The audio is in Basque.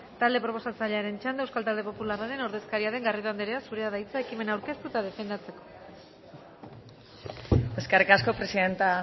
talde proposatzailearen txanda euskal talde popularraren ordezkaria den garrido andrea zurea da hitza ekimena aurkeztu eta defendatzeko eskerrik asko presidente